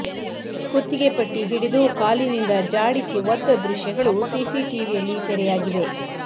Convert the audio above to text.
ಕುತ್ತಿಗೆ ಪಟ್ಟಿ ಹಿಡಿದು ಕಾಲಿನಿಂದ ಜಾಡಿಸಿ ಒದ್ದ ದೃಶ್ಯಗಳು ಸಿಸಿಟಿವಿಯಲ್ಲಿ ಸೆರೆಯಾಗಿವೆ